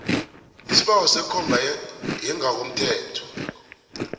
isibawo sekomba yangokothetho